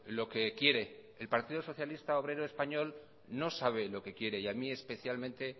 lo que quiere el partido socialista obrero español no sabe lo que quiere y a mí especialmente